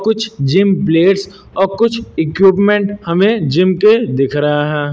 कुछ gym players और कुछ इक्विपमेंट हमें जिम के दिख रहे हैं।